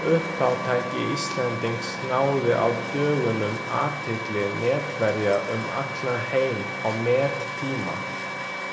Uppátæki Íslendings náði á dögunum athygli netverja um allan heim á mettíma.